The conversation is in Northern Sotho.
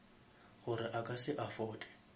gore a ka se afforde